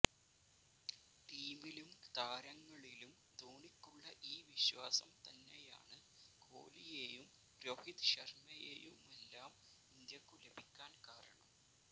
ടീമിലും താരങ്ങളിലും ധോണിക്കുള്ള ഈ വിശ്വാസം തന്നെയാണ് കോലിയെയും രോഹിത് ശര്മയെയുമെല്ലാം ഇന്ത്യക്കു ലഭിക്കാന് കാരണം